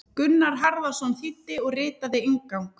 Gunnar Harðarson þýddi og ritaði inngang.